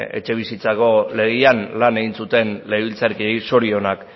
etxebizitzako legean lan egin zuten legebiltzarkideei zorionak